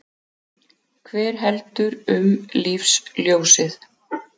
Hver heldur um lífsljósið?